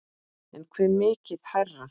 En hve mikið hærra?